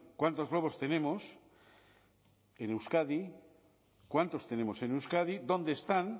cuántos lobos tenemos en euskadi cuántos tenemos en euskadi dónde están